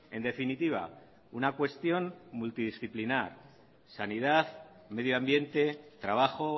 en definitiva una cuestión multidisciplinar sanidad medio ambiente trabajo